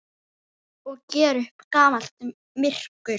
Og gera upp gamalt myrkur.